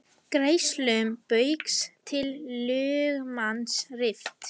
Greiðslum Baugs til lögmanns rift